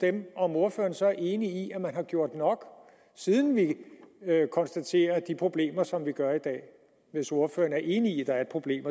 om ordføreren så er enig i at man har gjort nok siden vi konstaterer de problemer som vi gør i dag hvis ordføreren er enig i at der er et problem